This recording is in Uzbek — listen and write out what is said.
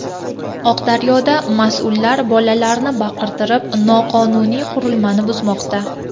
Oqdaryoda mas’ullar bolalarni baqirtirib, noqonuniy qurilmani buzmoqda.